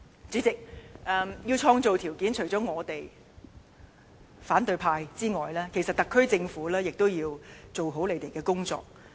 主席，要創造條件，除了我們與反對派之外，其實特區政府亦都要做好他們的工作。